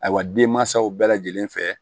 Ayiwa denmansaw bɛɛ lajɛlen fɛ